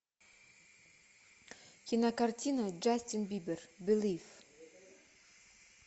кинокартина джастин бибер белив